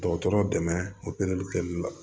Dɔgɔtɔrɔ dɛmɛ opereli kɛli la